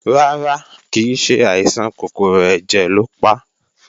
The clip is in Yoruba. Rárá, kìí ṣe àìsàn kòkòrò ẹ̀jẹ̀ lo pa